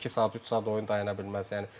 Yəni iki saat, üç saat oyun dayana bilməz.